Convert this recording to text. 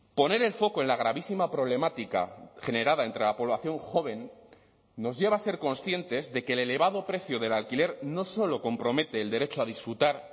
poner el foco en la gravísima problemática generada entre la población joven nos lleva a ser conscientes de que el elevado precio del alquiler no solo compromete el derecho a disfrutar